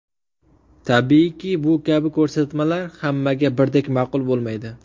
Tabiiyki, bu kabi ko‘rsatmalar hammaga birdek ma’qul bo‘lmaydi.